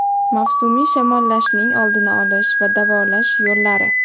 Mavsumiy shamollashning oldini olish va davolash yo‘llari.